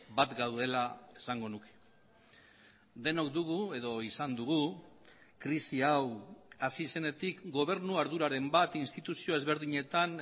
bat gaudela esango nuke denok dugu edo izan dugu krisi hau hasi zenetik gobernu arduraren bat instituzio ezberdinetan